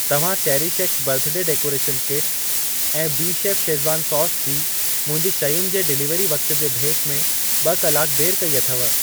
तव्हां Cherish X birthday decoration kit ऐं BeChef Schezwan sauce जी मुंहिंजी शयुनि जे डिलीवरी वक़्त जे भेट में ॿ कलाक देर कई अथव।